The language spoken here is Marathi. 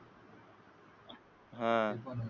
हा.